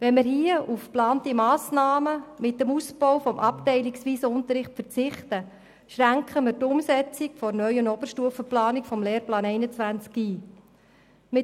Wenn wir mit den geplanten Massnahmen auf den Ausbau des abteilungsweisen Unterrichts verzichten, schränken wir die Umsetzung des neuen Oberstufenunterrichts im Lehrplan 21 ein.